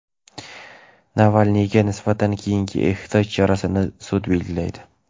Navalniyga nisbatan keyingi ehtiyot chorasini sud belgilaydi.